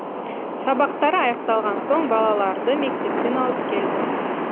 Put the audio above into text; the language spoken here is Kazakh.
сабақтары аяқталған соң балаларды мектептен алып келдік